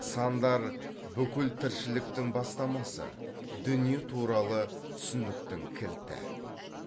сандар бүкіл тіршіліктің бастамасы дүние туралы түсініктің кілті